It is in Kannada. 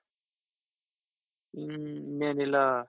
ಹ ಇನ್ನೇನಿಲ್ಲಾ